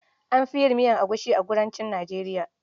An fi yin miyar egusi a kudancin Nijeriya.